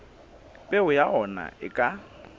peo ya ona e ka